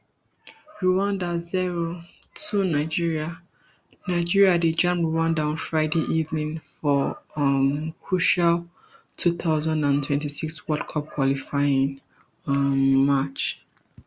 rwanda zero two nigeria nigeria dey jam rwanda on friday evening for dia um crucial two thousand and twenty-six world cup qualifying um match